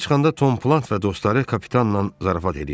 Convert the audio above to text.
Kəmiyə çıxanda Tom Plankt və dostları kapitanla zarafat eləyirdilər.